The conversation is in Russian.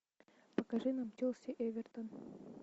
покажи нам челси эвертон